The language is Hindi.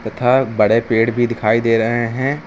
तथा बड़े पेड़ भी दिखाई दे रहे हैं।